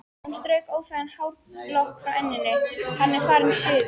Hún strauk óþægan hárlokk frá enninu: Hann er farinn suður